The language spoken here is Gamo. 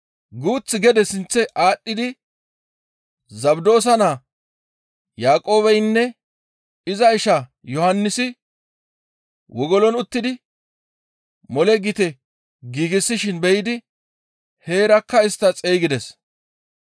Guuth gede sinththe aadhdhidi Zabdoosa naa Yaaqoobeynne iza isha Yohannisi wogolon uttidi mole gite giigsishin be7idi heerakka istta xeygides.